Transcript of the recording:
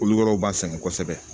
Kolo wɛrɛw b'an sɛgɛn kosɛbɛ